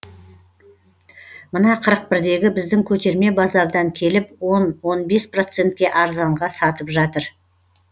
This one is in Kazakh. мына қырық бірдегі біздің көтерме базардан келіп он он бес процентке арзанға сатып жатыр